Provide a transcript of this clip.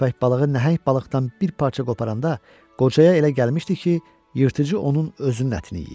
Köppək balığı nəhəng balıqdan bir parça qoparanda qocaya elə gəlmişdi ki, yırtıcı onun özünün ətini yeyir.